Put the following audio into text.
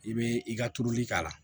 I bɛ i ka turuli k'a la